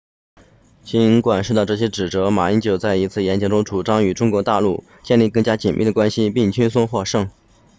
尽管受到这些指责马英九在一次演讲中主张与中国大陆建立更加紧密的联系并轻松获胜